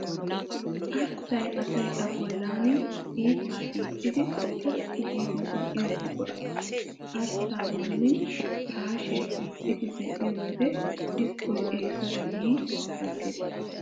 Arssay asay a bolli hiixaa hiixxidi xoqqu giidi zin'iyo buqura. Arssaa bolli piraashiya hiixxidi zin'iyo wode xiskkoy eesuwaara yi aggees.